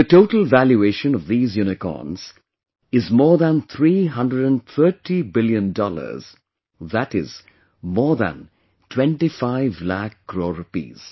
The total valuation of these Unicorns is more than 330 billion dollars, that is, more than 25 lakh crore rupees